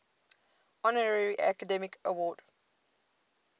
honorary academy award